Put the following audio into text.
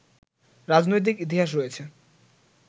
রাজনৈতিক ইতিহাস রয়েছে